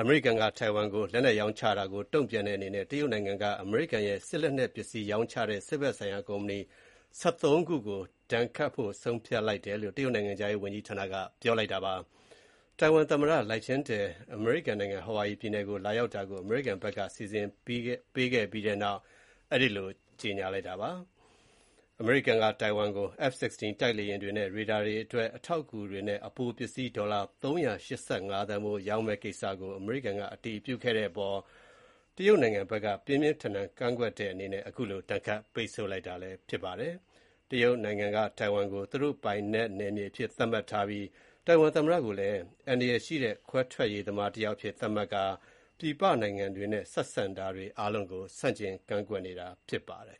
အမေရိကန်က ထိုင်ဝမ်ကိုလက်နက်ရောင်းချတာတုံ့ပြန်တဲ့အနေနဲ့ အမေရိကန်ရဲ့ စစ်လက်နက်ပစ္စည်း ရောင်းချတဲ့ စစ်ဘက်ဆိုင်ရာကုမ္ပဏီ ၁၃ ခုကို တရုတ်နိုင်ငံက ဒဏ်ခတ်ပိတ်ဆို့ဖို့ ဆုံးဖြတ်လိုက်တယ်လို့ တရုတ်နိုင်ငံခြားရေးဝန်ကြီးဌာနက ပြောပါတယ်။ ထိုင်ဝမ်သမ္မတ Lai Ching-te အမေရိကန်နိုင်ငံ ဟာဝါရီပြည်နယ်ကို လာရောက်တာကို အမေရိကန်ဘက်က စီစဉ်ပေးခဲ့ပြီးတဲ့နောက် အဲဒီလို ကြေညာလိုက်တာပါ။ အမေရိကန်က ထိုင်ဝမ်ကို F-16 တိုက်လေယာဉ်တွေနဲ့ ရေဒါတွေအတွက် အထောက်အကူတွေနဲ့ အပိုပစ္စည်း ဒေါ်လာ၃၈၅ သန်းဖိုး ရောင်းမယ့်ကိစ္စကို အမေရိကန်က အတည်ပြုခဲ့တဲ့အပေါ်မှာ တရုတ်နိုင်ငံဘက်က ပြင်းပြင်းထန်ထန်ကန့်ကွက်ခဲ့တဲ့အနေနဲ့ အခုလို ဒဏ်ခတ် ပိတ်ဆို့လိုက်တာ ဖြစ်ပါတယ်။ တရုတ်နိုင်ငံက ထိုင်ဝမ်ကို သူတို့ပိုင်နယ်မြေအဖြစ်သတ်မှတ်ထားပြီး၊ ထိုင်ဝမ်သမ္မတကိုလည်း အန္တရာယ်ရှိတဲ့ ခွဲထွက်ရေးသမားတယောက်အဖြစ် သတ်မှတ်ထားပြီး ပြည်ပနိုင်ငံတွေနဲ့ ဆက်ဆံတာတွေအားလုံးကို ဆန့်ကျင်ကန့်ကွက်နေတာဖြစ်ပါတယ်